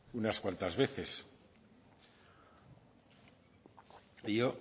unas cuantas veces y yo